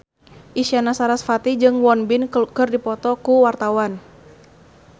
Isyana Sarasvati jeung Won Bin keur dipoto ku wartawan